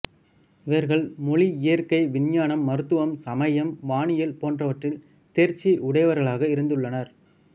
இவர்கள் மொழி இயற்கை விஞ்ஞானம் மருத்துவம் சமயம் வானியல் போன்றவற்றில் தேர்ச்சி உடையவர்களாக இருந்துள்ளனர்